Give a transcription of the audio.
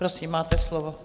Prosím, máte slovo.